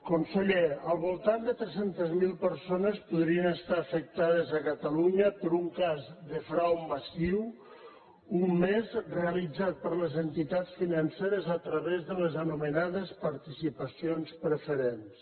conseller al voltant de tres cents miler persones podrien estar afectades a catalunya per un cas de frau massiu un més realitzat per les entitats financeres a través de les anomenades participacions preferents